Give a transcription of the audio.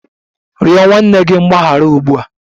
Rịọ nwanne gị mgbaghara ugbu a!